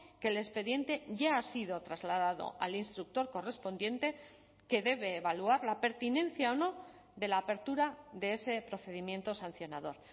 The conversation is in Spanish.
que el expediente ya ha sido trasladado al instructor correspondiente que debe evaluar la pertinencia o no de la apertura de ese procedimiento sancionador